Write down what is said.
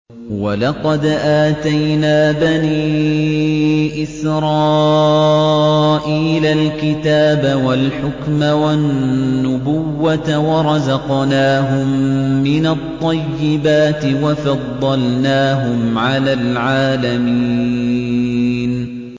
وَلَقَدْ آتَيْنَا بَنِي إِسْرَائِيلَ الْكِتَابَ وَالْحُكْمَ وَالنُّبُوَّةَ وَرَزَقْنَاهُم مِّنَ الطَّيِّبَاتِ وَفَضَّلْنَاهُمْ عَلَى الْعَالَمِينَ